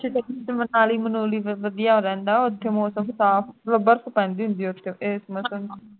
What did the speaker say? ਉਰਦੂ ਵਿਚ ਫਿਰ manali manually ਫਿਰ ਵਧੀਆ ਰਹਿੰਦਾ ਹੈ ਮੌਸਮ ਸਾਫ ਮਤਲਬ ਬਰਫ ਪੈਂਦੀ ਮਤਲਬ ਬਰਫ ਪੈਂਦੀ ਹੁੰਦੀ ਹੈ ਉਸ ਏਸ ਮੌਸਮ ਦੇ ਵਿੱਚ